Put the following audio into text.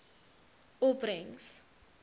opbrengs